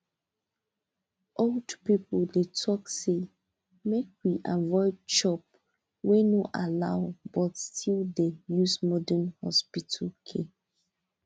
old people dey talk say make we avoid chop wey no allow but still dey use modern hospital care